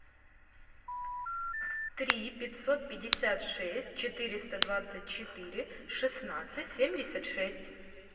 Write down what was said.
три пятьсот пятьдесят шесть четыреста двадцать четыре шестнадцать семьдесят шесть